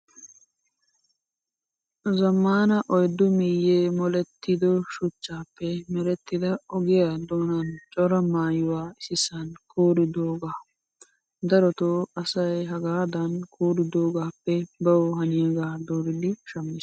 Zammaana oyiddu miyye molettido shuchchaappe merettida ogiyaa doonan coraa maayyuwaa issisan kuuridoogaa. Darotoo asay hagaadan kuuridoogappe bawu haniyaagaa dooridi shammes.